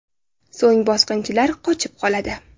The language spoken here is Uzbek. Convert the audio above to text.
So‘ng bosqinchilar qochib qoladi.